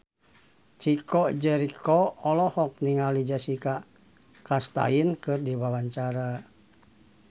Chico Jericho olohok ningali Jessica Chastain keur diwawancara